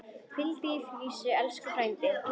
Hvíldu í friði, elsku frændi.